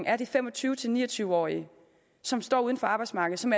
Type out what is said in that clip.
er de fem og tyve til ni og tyve årige som står uden for arbejdsmarkedet som